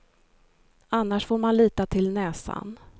Annars får man lita till näsan.